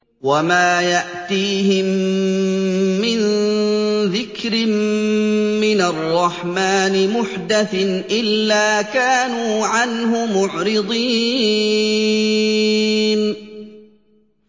وَمَا يَأْتِيهِم مِّن ذِكْرٍ مِّنَ الرَّحْمَٰنِ مُحْدَثٍ إِلَّا كَانُوا عَنْهُ مُعْرِضِينَ